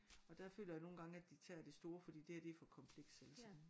Og der føler jeg nogle gange at de tager det store fordi det her det er for kompleks altså